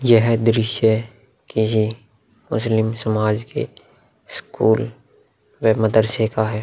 यह द्रश्य किसी मुस्लिम समाज के स्कूल वे मदर्से का है।